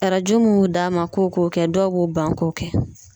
Arajo mun bɛ d'an ma k'o k'o kɛ dɔw b'o ban k'o kɛ.